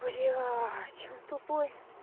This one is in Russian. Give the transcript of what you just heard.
блять он тупой